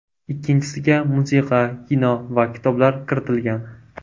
Ikkinchisiga musiqa, kino va kitoblar kiritilgan.